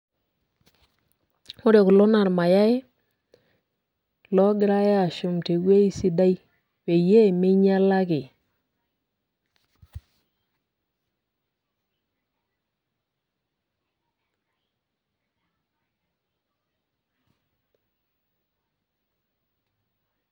Ore kulo naa irmayai, logirai ashum tewei sidai, peyie minyala ake.